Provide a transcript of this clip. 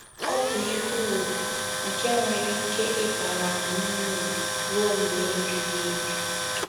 Ọ bụ ihe ùgwù nke nwere ike ịbara anyị uru ruo mgbe ebighị ebi.